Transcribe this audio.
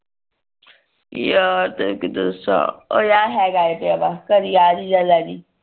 ਯਾਰ ਤੈਨੂ ਕੀ ਦੱਸਾਂ ਓ ਯਾਰ ਹੈਗਾ ਏ ਪਿਆ ਦਾ ਘਰੇ ਪਿਆ ਲੇਜੀ